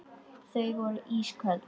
Þau voru ísköld.